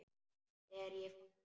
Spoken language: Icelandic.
Er ég fangi?